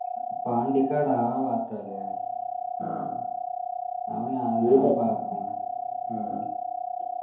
പാണ്ടിക്കാട് ആ ഭാഗത്തല്ലേ അവനാ